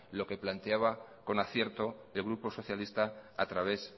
lo que planteaba con acierto el grupo socialista a través